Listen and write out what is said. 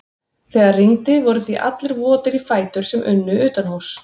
Þegar rigndi voru því allir votir í fætur sem unnu utanhúss.